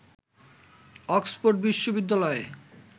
Oxford বিশ্ববিদ্যালয়ে